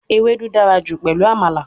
Ewedu dara ju pelu Amala